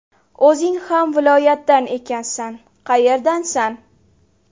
O‘zing ham viloyatdan ekansan, qayerdansan?